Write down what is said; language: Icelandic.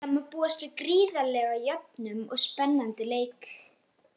Það má búast við gríðarlega jöfnum og spennandi leik.